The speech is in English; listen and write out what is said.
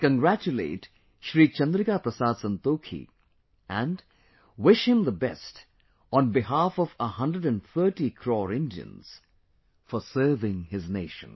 I congratulate Shri Chandrika Prasad Santokhi, and, wish him the best on behalf of 130 crore Indians, for serving his nation